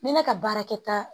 Ni ne ka baarakɛta